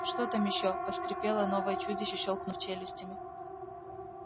что там ещё проскрипело новое чудище щёлкнув челюстями